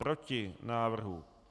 Proti návrhu.